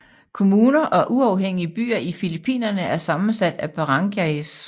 Kommuner og uafhængige byer i Filippinerne er sammensat af barangays